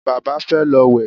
Bàbá fẹ́ lọ wẹ̀